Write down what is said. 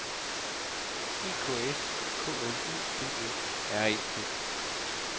E K S K L U D E R E T